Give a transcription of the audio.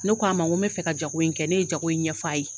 Ne k'a ma n ko mɛ fɛ ka jago in kɛ, ne ye jago in ɲɛf'a ye